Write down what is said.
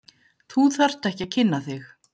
Þú þarft ekki að kynna þig.